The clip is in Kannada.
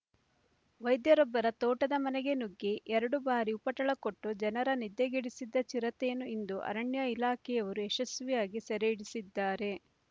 ವೈದ್ಯರೊಬ್ಬರ ತೋಟದ ಮನೆಗೆ ನುಗ್ಗಿ ಎರಡು ಬಾರಿ ಉಪಟಳ ಕೊಟ್ಟು ಜನರ ನಿದ್ದೆಗೆಡಿಸಿದ್ದ ಚಿರತೆಯನ್ನು ಇಂದು ಅರಣ್ಯ ಇಲಾಖೆಯವರು ಯಶಸ್ವಿಯಾಗಿ ಸೆರೆಹಿಡಿಸಿದ್ದಾರೆ